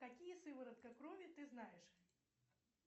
какие сыворотка крови ты знаешь